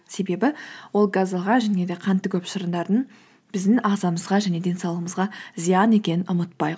себебі ол газдалған және де қанты көп шырындардың біздің ағзамызға және денсаулығымызға зиян екенін ұмытпайық